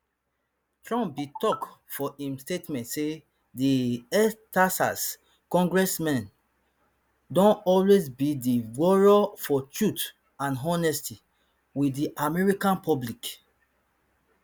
trump bin tok for im statement say di extexas congressman don always be a warrior for truth and honesty wit di american public